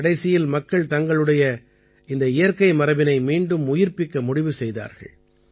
கடைசியில் மக்கள் தங்களுடைய இந்த இயற்கை மரபினை மீண்டும் உயிர்ப்பிக்க முடிவு செய்தார்கள்